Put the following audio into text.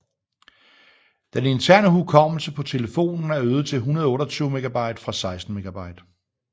Den interne hukommelse på telefonen er øget til 128 MB fra 16 MB